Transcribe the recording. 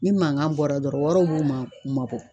Ni mankan bɔra dɔrɔn waraw b'u man bɔ.